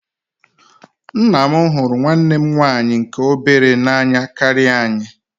Nna anyị hụrụ nwanne m nwaanyị nke obere n'anya karịa anyị.